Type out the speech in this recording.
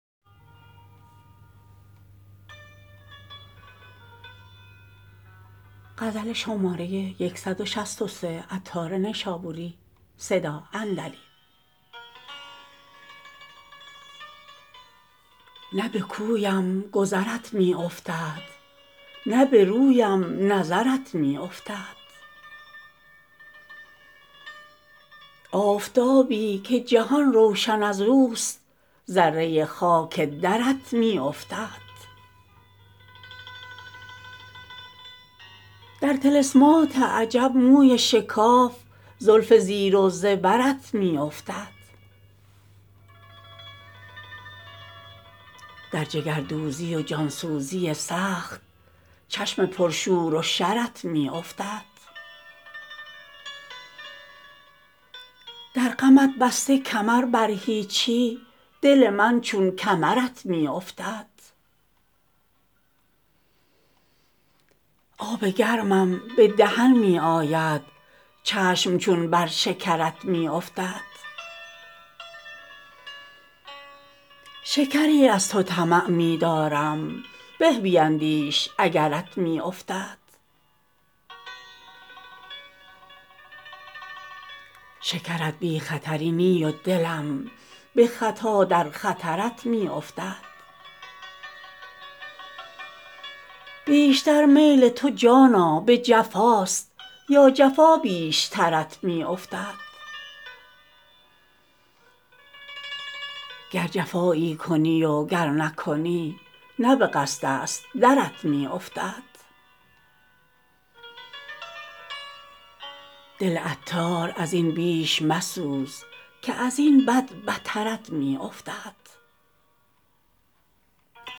نه به کویم گذرت می افتد نه به رویم نظرت می افتد آفتابی که جهان روشن ازوست ذره خاک درت می افتد در طلسمات عجب موی شکاف زلف زیر و زبرت می افتد در جگردوزی و جان سوزی سخت چشم پر شور و شرت می افتد در غمت بسته کمر بر هیچی دل من چون کمرت می افتد آب گرمم به دهن می آید چشم چون بر شکرت می افتد شکری از تو طمع می دارم به بیندیش اگرت می افتد شکرت بی خطری نی و دلم به خطا در خطرت می افتد بیشتر میل تو جانا به جفاست یا جفا بیشترت می افتد گر جفایی کنی و گر نکنی نه به قصد است درت می افتد دل عطار ازین بیش مسوز که ازین بد بترت می افتد